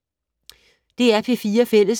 DR P4 Fælles